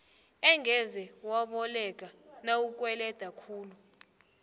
angeze waboleka nawukweleda khulu